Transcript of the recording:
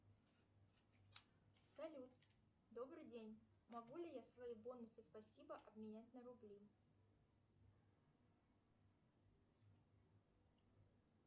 салют добрый день могу ли я свои бонусы спасибо обменять на рубли